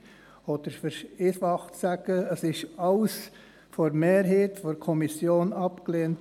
Um es einfacher zu sagen: Alles wurde von der Kommissionsmehrheit abgelehnt.